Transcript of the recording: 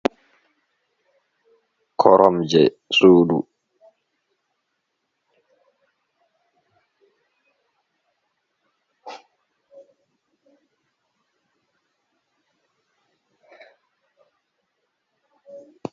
Korom je sudu.